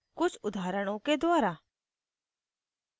कुछ उदाहरणों के द्वारा